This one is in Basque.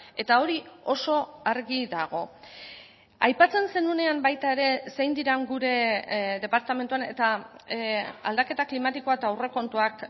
eta hori oso argi dago aipatzen zenuenean baita ere zein diren gure departamentuan eta aldaketa klimatikoa eta aurrekontuak